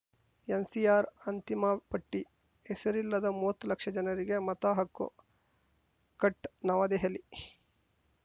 NCR ಅಂತಿಮ ಪಟ್ಟಿ ಹೆಸರಿಲ್ಲದ ಮೂವತ್ತು ಲಕ್ಷ ಜನರಿಗೆ ಮತ ಹಕ್ಕು ಕಟ್‌ ನವದೆಹಲಿ